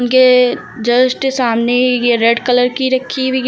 के जस्ट सामने ये रेड कलर की रखी हुई है।